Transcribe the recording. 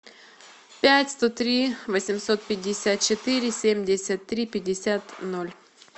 пять сто три восемьсот пятьдесят четыре семьдесят три пятьдесят ноль